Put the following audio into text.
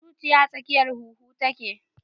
Zuciya a tsiyar huhu take